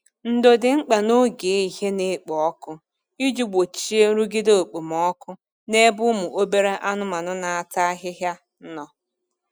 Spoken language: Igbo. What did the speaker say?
Ndo dị mkpa n'oge ehihie na-ekpo ọkụ iji gbochie nrụgide okpomọkụ n’ebe ụmụ obere anụmanu na-ata ahịhịa nọ